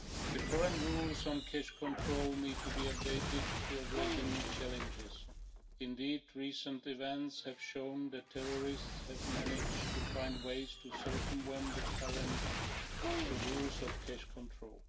The current rules on cash control need to be updated to address the new challenges. Recent events have shown that terrorists have managed to find ways to circumvent the current rules on cash control.